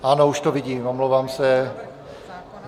Ano, už to vidím, omlouvám se.